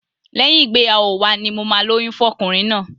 Lẹ́yìn ìgbéyàwó wa ni mo máa lóyún fún ọkùnrin náà.